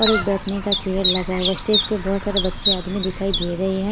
और एक बैठने का चेयर लगा हुआ हैस्टेज पर बहुत सारे बच्चे आदमी दिखाई दे रहे हैं।